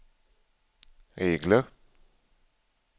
regler